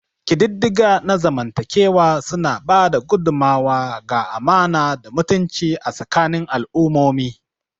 Ƙididdiga na zamantakewa suna ba da gudummawa ga amana da mutunci a tsakanin al'ummomi.